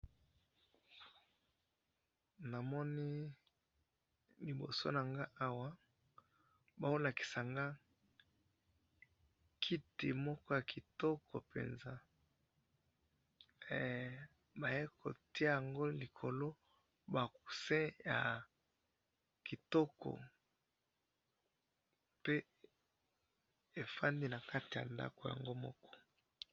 Na moni kiti na ba coussins ya kitoko na kati ya ndako.